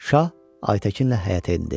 Şah Ayətəkinlə həyətə endi.